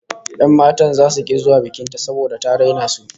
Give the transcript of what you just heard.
Yan matan zasu ki zuwa bikin ta saboda ta raina su